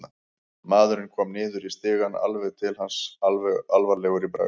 Maðurinn kom niður í stigann, alveg til hans, alvarlegur í bragði.